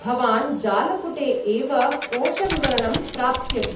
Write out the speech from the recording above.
भवान् जालपुटे एव कोषविवरणं प्राप्स्यति।